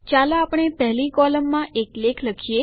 ચાલો આપણે પહેલી કોલમમાં એક લેખ લખીએ